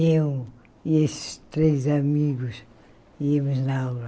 E eu e esses três amigos íamos na aula.